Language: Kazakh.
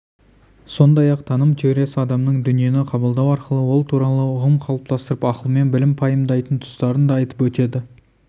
сондай-ақ таным теориясы адамның дүниені қабылдау арқылы ол туралы ұғым қалыптастырып ақылмен біліп пайымдайтын тұстарын да айтып өтеді